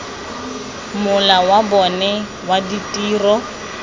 mola wa bona wa ditiro